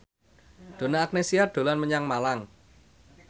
Donna Agnesia dolan menyang Malang